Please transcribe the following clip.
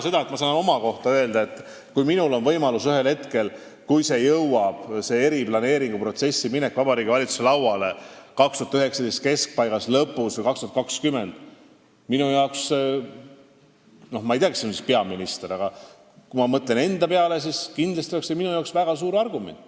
Ma saan täna öelda, et kui see eriplaneeringuprotsess jõuab Vabariigi Valitsuse lauale 2019. aasta keskpaigas või lõpus või aastal 2020 – ma küll ei tea, kes on sel ajal peaminister – ja kui minul oleks võimalus otsustada, siis oleks see minu jaoks kindlasti väga suur argument.